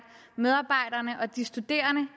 medarbejderne og de studerende